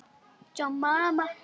Ég velti því aðeins upp.